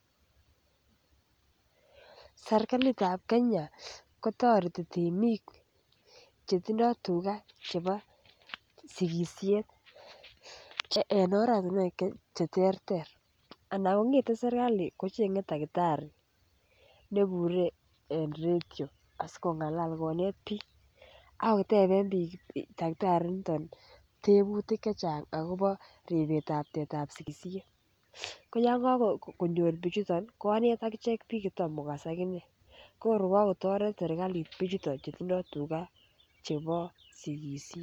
Serkalit ab Kenya kotoreti temik Chetindoi tuga chebo sigisiet en oratinwek Che terter anan kongete serkali kochenge takitari ne Bure en radio asi kongalal konet bik ak koteben bik takitari initon tebutik Che Chang agobo ribset ab tetab sigisiet ko yon kagonyor bichuto konet agichek bik Che Tom kogas aginee ko tor ko kagotoret serkalit bichuto chutindo tuga chebo sigisiet